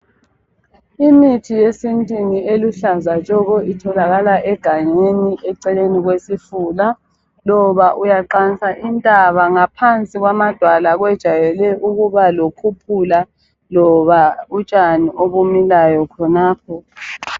Imithi yesintwini eluhlaza tshoko, itholakala egangeni, eceleni kwesifula. Loba uyaqansa intaba, ngaphansi kwamadwala, kujayele ukuba lokhuphula, kumbe utshani obumilayo khonapho.